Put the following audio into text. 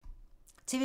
TV 2